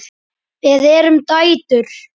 Við erum dætur!